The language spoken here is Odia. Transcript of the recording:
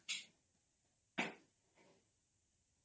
noise